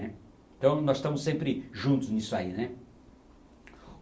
Então nós estamos sempre juntos nisso aí. né